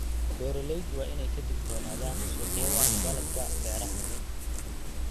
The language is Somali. Beeraleydu waa inay ka digtoonaadaan suuqyada dalagga beeraha.